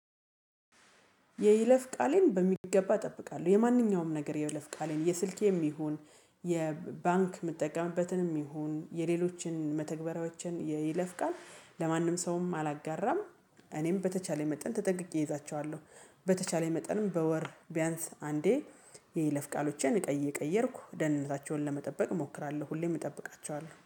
የይለፍ ቃሌን በሚገባ እጠብቃለሁ የማንኛውም ነገር የይለፍ ቃሌን የስልኬም ይሁን የባንክ የምትጠቀምበትንም ይሁን የሌሎችን መተግበሪያዋችን ይለፍቃል ለማንም ሰውም አላጋራም። እኔም በተቻለኝ መጠን ተጠንቅቄ እይዛቸዋለሁ። በተቻለኝ መጠንም በወር ቢያንስ አንዴ የይለፍ ቃሎቼን ቀይ እየቀየርኩ ደህንነታቸውን ለመጠበቅ እሞክራለሁ። ሁሌም እጠብቃቸዋለሁ